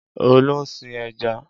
Olú ń sin ẹja.